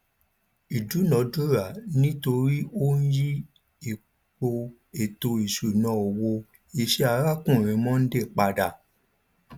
ìdúnadúrà ni nítorí ó yí ipò ètò ìṣúná owó iṣẹ arákùnrin mondal pada